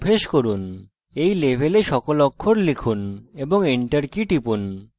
এই level সকল অক্ষর লিখুন এবং enter key টিপুন